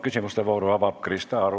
Küsimuste vooru avab Krista Aru.